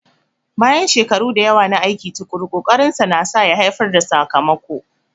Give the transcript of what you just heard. Bayan shekaru da yawa na aiki tuƙuru, ƙokarinsa nasa ya haifar da sakamako.